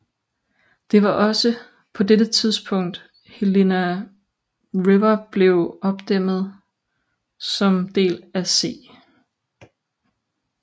Det var også på dette tidspunkt Helena River blev opdæmmet som del af C